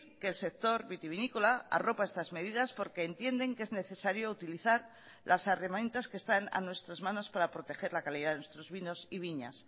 que el sector vitivinícola arropa estas medidas porque entienden que es necesario utilizar las herramientas que están a nuestras manos para proteger la calidad de nuestros vinos y viñas